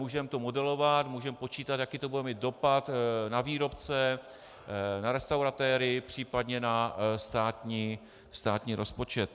Můžeme to modelovat, můžeme počítat, jaký to bude mít dopad na výrobce, na restauratéry, příp. na státní rozpočet.